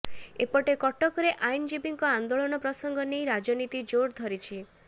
ଏପଟେ କଟକରେ ଆଇନଜୀବୀଙ୍କ ଆନ୍ଦୋଳନ ପ୍ରସଙ୍ଗ ନେଇ ରାଜନୀତି ଜୋର ଧରିଛି